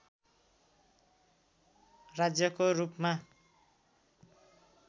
राज्यको रूपमा